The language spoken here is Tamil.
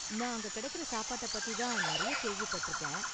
நான் அங்க கிடைக்குற சாப்பாட்டை பத்தி தான் நிறையா கேள்விப்பட்டிருக்கேன்.